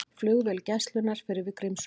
Flugvél Gæslunnar fer yfir Grímsvötn